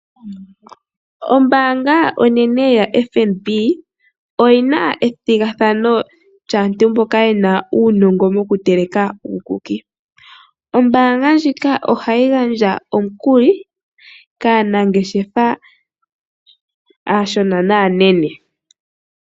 Ombaanga onene yaFNB oyina ethigathano lyaantu mboka yena uunongo mokutekela uukuki . Ombaanga ndjika ohayi gandja omikuli kaanangeshefa aashona naanene.